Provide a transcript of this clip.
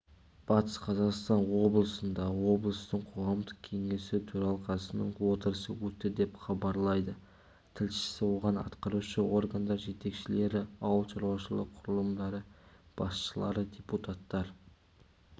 батыс қазақстан облысында облыстың қоғамдық кеңесі төралқасының отырысы өтті деп хабарлайды тілшісі оған атқарушы органдар жетекшілері ауыл шаруашылығы құрылымдары басшылары депутаттар